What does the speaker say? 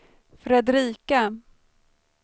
Fredrika